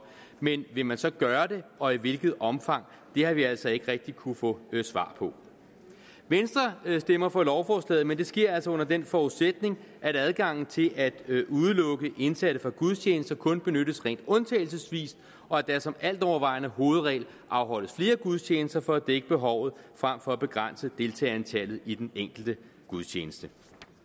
men vil man så gøre det og i hvilket omfang det har vi altså ikke rigtig kunnet få noget svar på venstre stemmer for lovforslaget men det sker altså under den forudsætning at adgangen til at kunne udelukke indsatte fra gudstjenester kun benyttes rent undtagelsesvis og at der som altovervejende hovedregel afholdes flere gudstjenester for at dække behovet frem for at begrænse deltagerantallet i den enkelte gudstjeneste